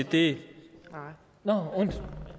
det